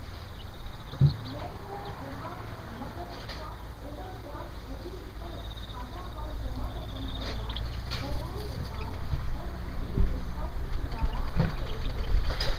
બેંકો એડવાન્સ નગદ શાખ ઓવર ડ્રાફટ અધિવિકર્ષ ખાતામાં જમા રકમ કરતાં વધારે ઉપાડ અને બિલ ડિસ્કાઉન્ટિીંગ દ્વારા આપે છે.